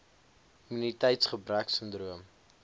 immuniteitsgebreksindroom